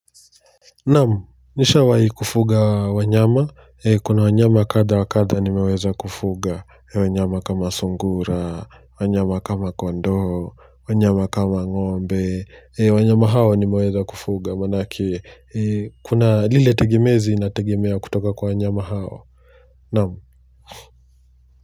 Naam, nishawai kufuga wanyama. Kuna wanyama kada wa kada nimeweza kufuga. Wanyama kama sungura, wanyama kama kondoo, wanyama kama ng'ombe. Wanyama hawa nimeweza kufuga. Maanake, kuna lile tegimezi nategemea kutoka kwa wanyama hao. Naam.